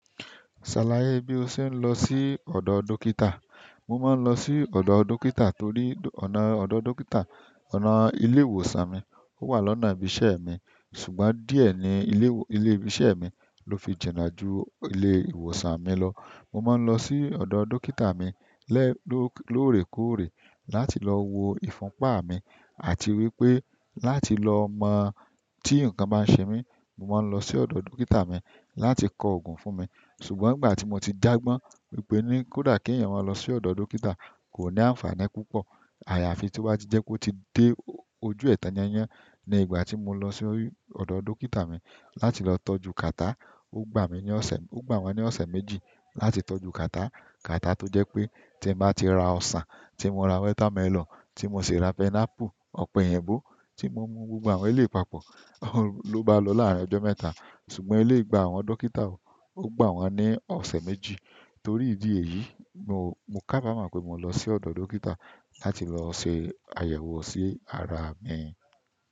Ṣàlàyé bí o ṣe ń lọ sí ọ̀dọ̀ dókítà. Mo máa ń lọ sí ọ̀dọ̀ dókítà torí ọ̀nà ọ̀dọ̀ dókítà, ọ̀nà ilé ìwòsàn mi, ó wà lọ́nà ibi iṣẹ́ mi. Ṣùgbọ́n díẹ̀ ni ilé, ilé ibi iṣẹ́ mi ló fi jìnà ju ilé ìwòsàn mi lọ. Mo máa ń lọ sí ọ̀dọ̀ dókítà mi lẹ́ lóòrèkóòrè láti lọ wo ìfúnpa mi àti wípé láti lọ mọ̀ tí ǹnkan bá ń ṣe mí, mo máa ń lọ sí ọ̀dọ̀ dókítà mi láti kọ òògùn fún mi. Ṣùgbọ́n ìgbà tí mo ti jàgbọn wípé ní kódà kí ẹ̀yàn máa lọ sí ọ̀dọ̀ dókítà kò ní àǹfààní púpọ̀. Ayafi to ba ti jẹpe o ti de ojú ẹ tan yanyan. Ní ìgbà tí mo lọ sí ọ̀dọ̀ dókítà mi láti lọ tọ́jú kàtá, ó gbà mí ní ọ̀sẹ̀, ó gbà wọ́n ní ọ̀sẹ̀ méjì láti tọ́jú kàtá. Kàtá tó jẹ́ pé tí mo bá ti ra ọsàn, tí mo ra wétámẹlọ̀nù, tí mo ṣe ra pẹnápù, ọ̀pẹ̀eyińbó, tí mo mu gbogbo àwọn eléyi papọ̀, ló bá lọ láàárín ọjọ́ mẹ́ta. Ṣùgbọ́n eléyi gba àwọn dókítà o, ó gbà wọ́n ní ọ̀sẹ̀ méjì. Torí idi èyí mo kabamọ pe mo lọ si ọdọ dókítà láti lọ se àyẹ̀wò si ara mi.